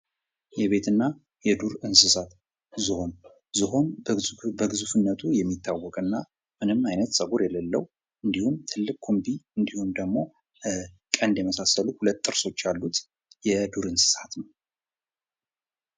የቤት እና የዱር እንስሳት ዝሆን:- ዝሆን በግዙፍነቱ የሚታወቅ እና ምንም አይነት ፀጉር የሌለዉ እንዲሁም ትልቅ ኩምቢ እንዲሁም ደግሞ ቀንድ የመሳሰሉ ሁለት ጥርሶች ያሉት የዱር እንስሳት ነዉ።